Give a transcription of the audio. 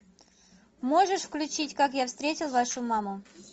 можешь включить как я встретил вашу маму